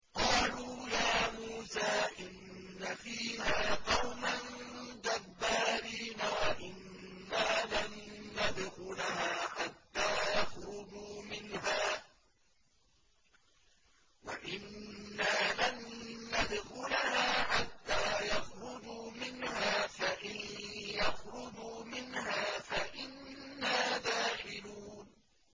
قَالُوا يَا مُوسَىٰ إِنَّ فِيهَا قَوْمًا جَبَّارِينَ وَإِنَّا لَن نَّدْخُلَهَا حَتَّىٰ يَخْرُجُوا مِنْهَا فَإِن يَخْرُجُوا مِنْهَا فَإِنَّا دَاخِلُونَ